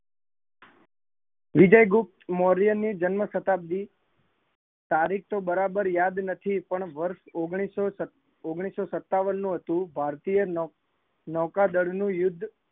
વિજય ગુપ્ત મૌર્ય ની જન્મશ શતાબ્દી તારીખ તો બરાબર યાદ નથી પણ વર્ષ ઓગણીસો સતાવન નું હતું, ભારતીય નૌકાદર નું યુદ્ધ